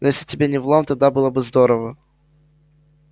ну если тебе не в лом тогда было бы здорово